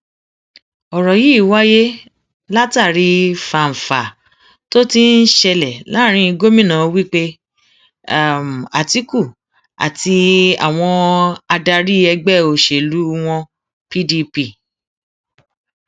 ọrọ yìí wáyé látàrí fánfàá tó ti ń ṣẹlẹ láàrin gómìnà wike àtikukú àti àwọn adarí ẹgbẹ òṣèlú wọn pdp